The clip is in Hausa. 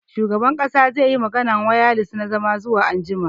Shugaban kasa zai yi maganar wayalis na zama zuwa anjima.